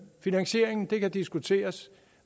finansieringen kan diskuteres